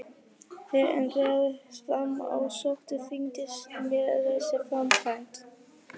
En þegar fram í sótti þyngdist mér þessi framkvæmd.